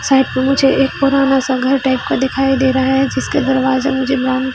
side पे मुझे एक पुराना सा घर टाइप का दिखाई दे रहा है जिसके दरवाजा मुझे ब्राउन --